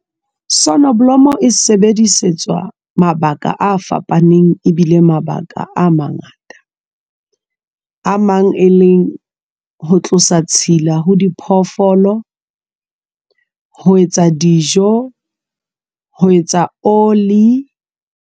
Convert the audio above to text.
Sonoblomo e sebedisetswa mabaka a fapaneng e bile mabaka a mangata a mang e leng ho tlosa tshila ho diphoofolo ho etsa dijo, ho etsa oli.